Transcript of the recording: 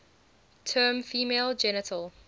term female genital